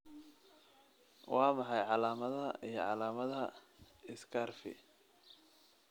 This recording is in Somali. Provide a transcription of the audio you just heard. Waa maxay calaamadaha iyo calaamadaha Scurvy?